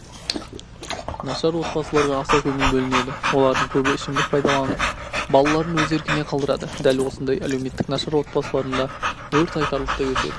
нашар отбасыларға аса көңіл бөлінеді олардың көбі ішімдік пайдаланып балаларын өз еркіне қалдырады дәл осындай әлеуметтік нашар отбасыларында өрт айтарлықтай өседі